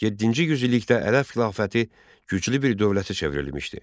Yeddinci yüzillikdə Ərəb xilafəti güclü bir dövlətə çevrilmişdi.